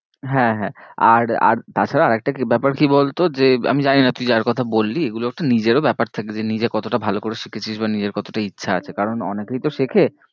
হ্যাঁ হ্যাঁ আর আর তা ছাড়াও আরেকটা কি ব্যাপার কি বলতো যে আমি জানি না তুই যার কথা বললি এগুলো একটা নিজের ও ব্যাপার থাকে যে নিজে কতটা ভালো করে শিখেছিস বা নিজের কতটা ইচ্ছা আছে কারণ অনেকেই তো শেখে